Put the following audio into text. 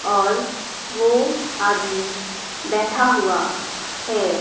और वो आदमी बैठा हुआ है।